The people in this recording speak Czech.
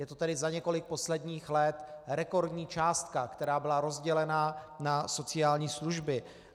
Je to tedy za několik posledních let rekordní částka, která byla rozdělena na sociální služby.